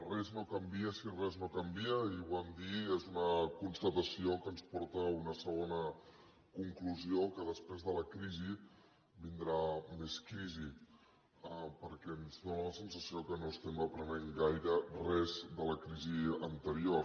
res no canvia si res no canvia ahir ho vam dir és una constatació que ens porta a una segona conclusió que després de la crisi vindrà més crisi perquè ens dóna la sensació que no estem aprenent gaire res de la crisi anterior